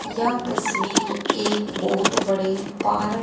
यह तस्वीर एक बहोत बड़े पार--